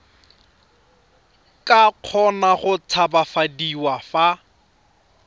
ka kgona go tshabafadiwa fa